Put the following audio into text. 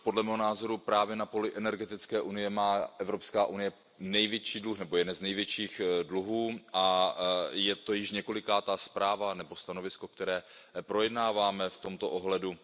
Podle mého názoru právě na poli energetické unie má Evropská unie jeden z největších dluhů a je to již několikátá zpráva nebo stanovisko, které projednáváme v tomto ohledu.